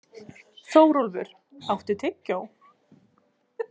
Þórólfur, áttu tyggjó?